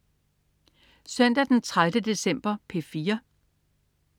Søndag den 30. december - P4: